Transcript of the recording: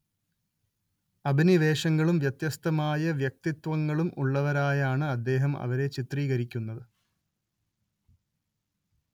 അഭിനിവേശങ്ങളും വ്യത്യസ്തമായ വ്യക്തിത്വങ്ങളും ഉള്ളവരായാണ്‌ അദ്ദേഹം അവരെ ചിത്രീകരിക്കുന്നത്‌